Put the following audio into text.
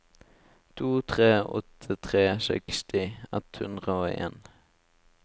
to tre åtte tre seksti ett hundre og en